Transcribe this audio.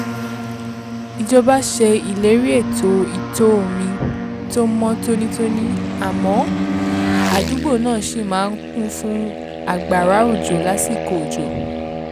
ìjọba ṣe ìlérí ètò ìtọ̀-omi tó mọ́ tónítóní àmọ́ àdúgbò náà ṣì máa ń kún fún àgbàrá òjò lásìkò òjò